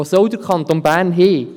Wo soll der Kanton Bern hingehen?